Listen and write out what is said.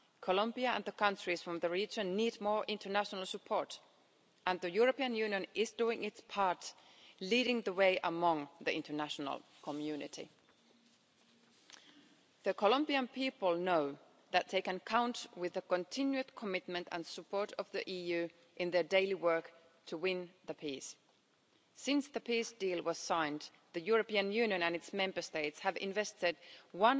Columbia and the countries from the region need more international support and the European Union is doing its part, leading the way among the international community. The Colombian people know that they can count on the continued commitment and support of the EU in their daily work to win the peace. Since the peace deal was signed, the European Union and its Member States have invested EUR